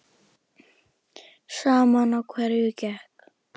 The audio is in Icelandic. Sama á hverju gekk.